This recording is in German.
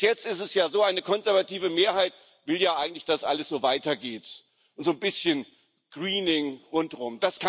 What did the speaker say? Bis jetzt ist es ja so Eine konservative Mehrheit will ja eigentlich, dass alles so weitergeht, und so ein bisschen Greening rundherum.